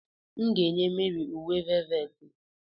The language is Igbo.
M ga-enye Mary uwe velveti.